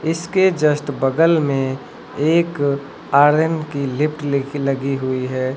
इसके जस्ट बगल में एक आर्यन की लिफ्ट लिखी लगी हुई है।